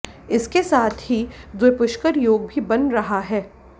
इसके साथ ही द्विपुष्कर योग भी बन रहा है